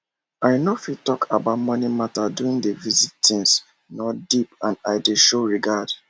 i nor fit talk about moni matter during d visit tins nor deep and i dey show regard